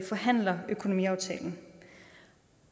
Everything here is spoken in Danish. forhandler økonomiaftalen